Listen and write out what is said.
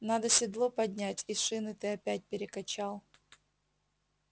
надо седло поднять и шины ты опять перекачал